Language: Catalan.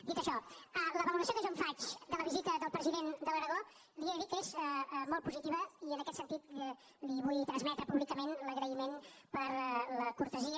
dit això la valoració que jo en faig de la visita del president de l’aragó li he de dir que és molt positiva i en aquest sentit li vull transmetre públicament l’agraïment per la cortesia